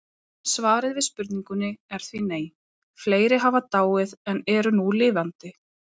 Svarið við spurningunni er því nei, fleiri hafa dáið en eru nú lifandi